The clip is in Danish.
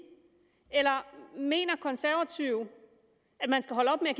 eller mener konservative at man skal holde op med at